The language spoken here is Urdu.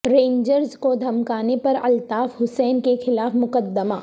رینجرز کو دھمکانے پر الطاف حسین کے خلاف مقدمہ